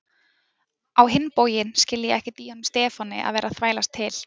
Á hinn bóginn skil ég ekkert í honum Stefáni að vera að þvælast til